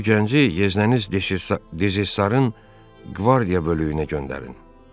Bu gənci yeznəniz dezarın qvardiya bölüyünə göndərin.